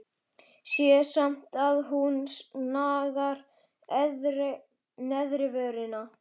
Sé samt að hún nagar neðri vörina.